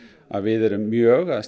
að við erum mjög að